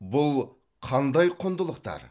бұл қандай құндылықтар